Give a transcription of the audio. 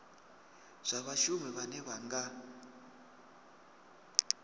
zwa vhashumi vhane vha nga